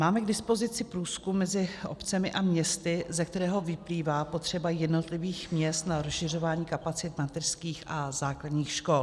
Máme k dispozici průzkum mezi obcemi a městy, ze kterého vyplývá potřeba jednotlivých měst na rozšiřování kapacit mateřských a základních škol.